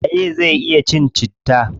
Waye zai iya cin citta?